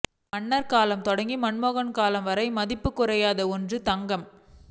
ன்னர் காலம் தொடங்கி மன்மோகன் காலம் வரை மதிப்புக் குறையாத ஒன்று தங்கம்